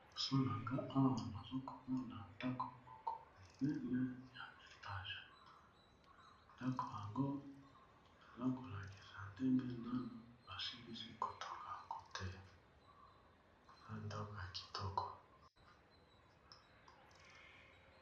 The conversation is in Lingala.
losolanga owa nozokomona ndako moko minene ya vertage ndako yango eza kolakisa ndenge nano basilisi kotonga yango te na ndanko ya kitoko